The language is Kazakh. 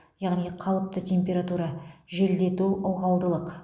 яғни қалыпты температура желдету ылғалдылық